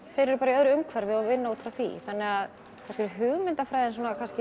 þeir eru í öðru umhverfi og vinna út frá því kannski hugmyndafræðin